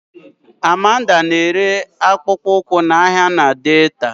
Amanda na-ere akpụkpọ ụkwụ n'ahịa na Delta